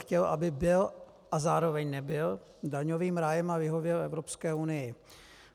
Chtěl, aby byl a zároveň nebyl daňovým rájem a vyhověl Evropské unii.